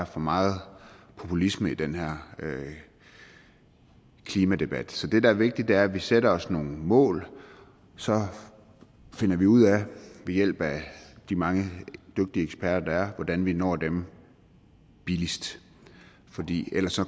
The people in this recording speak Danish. for meget populisme i den her klimadebat så det der er vigtigt er at vi sætter os nogle mål og så finder vi ud af ved hjælp af at de mange dygtige eksperter der er hvordan vi når dem billigst fordi ellers